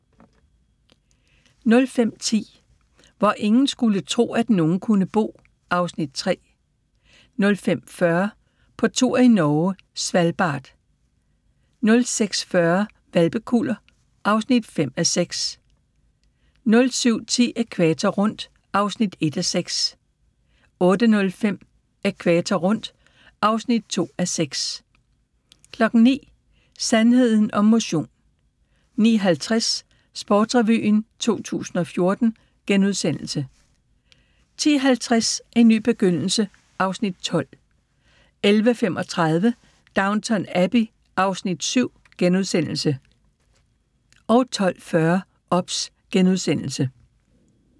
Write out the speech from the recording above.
05:10: Hvor ingen skulle tro, at nogen kunne bo (Afs. 3) 05:40: På tur i Norge: Svalbard 06:40: Hvalpekuller (5:6) 07:10: Ækvator rundt (1:6) 08:05: Ækvator rundt (2:6) 09:00: Sandheden om motion 09:50: Sportsrevyen 2014 * 10:50: En ny begyndelse (Afs. 12) 11:35: Downton Abbey (Afs. 7)* 12:40: OBS *